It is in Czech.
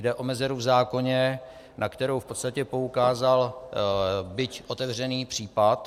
Jde o mezeru v zákoně, na kterou v podstatě poukázal byť otevřený případ.